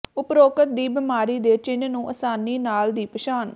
ਉਪਰੋਕਤ ਦੀ ਬਿਮਾਰੀ ਦੇ ਚਿੰਨ੍ਹ ਨੂੰ ਆਸਾਨੀ ਨਾਲ ਦੀ ਪਛਾਣ